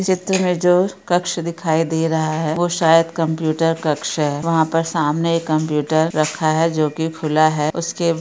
ये चित्र मे जो कक्ष दिखाई दे रहा है वो शायद कंप्युटर कक्ष है वहां पर सामने एक कंप्युटर रखा है जो की खुला है उसके ।